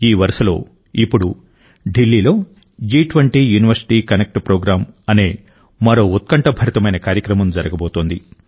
ఈ వరుసలో ఇప్పుడు ఢిల్లీలో జి20 యూనివర్సిటీ కనెక్ట్ ప్రోగ్రామ్ అనే మరో ఉత్కంఠభరితమైన కార్యక్రమం జరగబోతోంది